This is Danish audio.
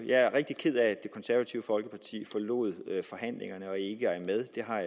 jeg er rigtig ked af at det konservative folkeparti forlod forhandlingerne og ikke er med jeg har